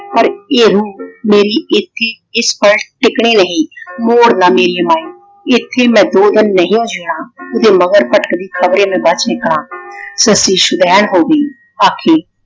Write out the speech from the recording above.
ਪਰ ਏਹੁ ਮੇਰੀ ਇੱਕ ਹੀ ਇੱਕ ਪੱਲ ਟਿਕਣੀ ਨਹੀਂ। ਮੋੜ ਨਾ ਮੇਰੀਏ ਮਾਏ। ਇੱਥੇ ਮੈਂ ਦੋ ਦਿਨ ਨਹੀਓ ਜਿਉਣਾ। ਓਹਦੇ ਮਗਰ ਭਟਕਦੀ ਖਬਰੇ ਮੈਂ ਬੱਚ ਨਿਕਲਾ ਸੱਸੀ ਸੁਦੈਣ ਹੋਗੀ ਆਖੀ